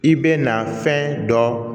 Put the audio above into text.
I bɛ na fɛn dɔ